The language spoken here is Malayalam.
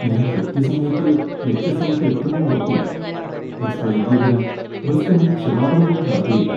ഞാൻ കൃത്യസമയത്ത് ലക്ഷ്യസ്ഥാനത്ത് എത്തുമോ ഉറപ്പില്ല. ബസ് വൈകിയതിന് ബസ് കമ്പനി ക്ഷമാപണം പോലും നടത്തിയില്ല.